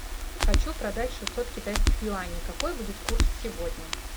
хочу продать шестьсот китайских юаней какой будет курс сегодня